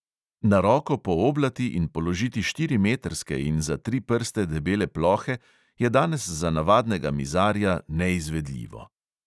Na roko pooblati in položiti štirimetrske in za tri prste debele plohe je danes za navadnega mizarja neizvedljivo.